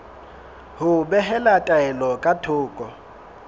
ho behela taelo ka thoko